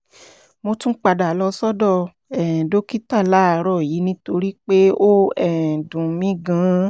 mo tún padà lọ sọ́dọ̀ um dókítà láàárọ̀ yìí nítorí pé ó um dùn mí gan-an